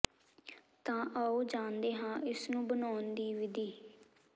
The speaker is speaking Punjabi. ਤਾਂ ਆਓ ਜਾਣਦੇ ਹਾਂ ਇਸ ਨੂੰ ਬਣਾਉਣ ਦੀ ਵਿਧੀ